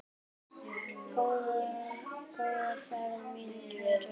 Góða ferð mín kæru.